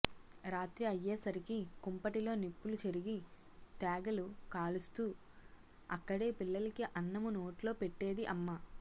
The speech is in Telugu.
రాత్రి అయ్యేసరికి కుంపటిలో నిప్పులు చెరిగి తేగలు కాలుస్తూ అక్కడే పిల్లలకి అన్నము నోట్లో పెట్టేది అమ్మ